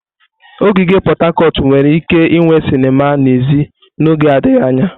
Ogige Pot Tarcot nwere ike inwe sinima n'èzí n'oge adịghị anya.